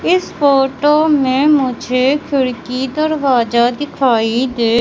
इस फोटो में मुझे खिड़की दरवाजा दिखाई दे--